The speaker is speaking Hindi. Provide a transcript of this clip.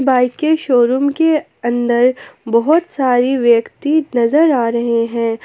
बाइक के शोरूम के अंदर बहोत सारे व्यक्ति नजर आ रहे हैं।